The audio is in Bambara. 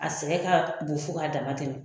A sɛgɛn ka bon fo ka dama tɛmɛ.